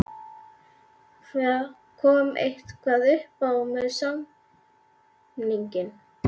Kom eitthvað uppá með samninginn?